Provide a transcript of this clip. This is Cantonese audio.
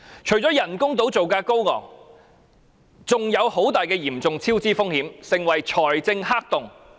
除了人工島造價高昂，還潛在龐大的超支風險，成為財政黑洞。